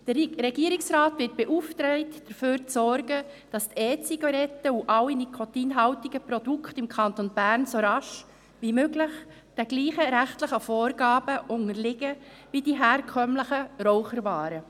Der Regierungsrat wird beauftragt, dafür zu sorgen, dass die E-Zigaretten und alle nikotinhaltigen Produkte im Kanton Bern so rasch wie möglich denselben rechtlichen Vorgaben unterliegen, wie die herkömmlichen Raucherwaren.